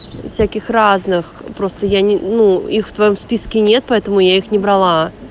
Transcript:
всяких разных простая ну их в твоём списке нет поэтому я их не брала